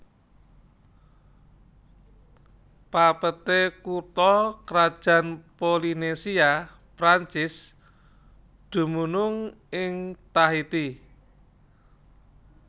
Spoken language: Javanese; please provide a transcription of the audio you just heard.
Papeete kutha krajan Polinesia Perancis dumunung ing Tahiti